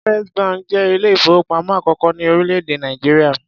First bank jẹ́ ilé-ìfowópamọ́ àkọ́kọ́ ní orílẹ̀-èdè Nàìjíríà.